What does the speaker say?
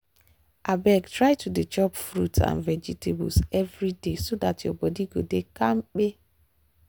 um try to dey chop fruit and vegetables every day so dat your body go dey kampe.